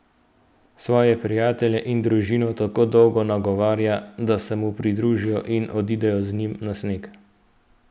Svoje prijatelje in družino tako dolgo nagovarja, da se mu pridružijo in odidejo z njim na sneg.